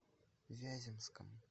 вяземском